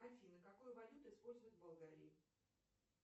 афина какую валюту используют в болгарии